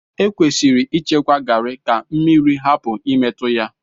Ekwesịrị ịchekwa Garri ka mmiri hapụ imetụ ya.